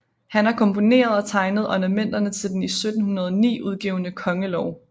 Han har komponeret og tegnet ornamenterne til den i 1709 udgivne kongelov